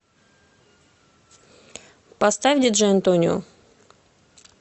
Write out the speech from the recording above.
поставь диджей антонио